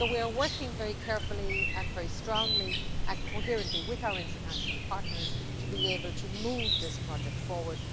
So we are working very carefully, strongly and coherently with our international partners to be able to move this project forward.